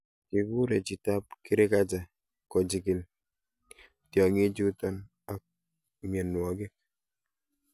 Kikure chitab kirakacha kochikil tiongikchuton ak mionwogik.